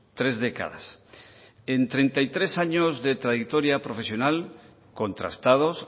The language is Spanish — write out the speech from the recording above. tres décadas en treinta y tres años de trayectoria profesional contrastados